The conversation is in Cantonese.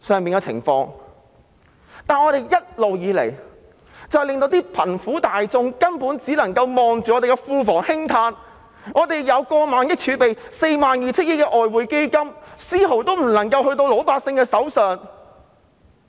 然而，政府一直令貧苦大眾只能夠望着庫房興嘆，我們擁有過萬億元儲備及 42,000 億元外匯基金，但卻無法把分毫交到老百姓手上。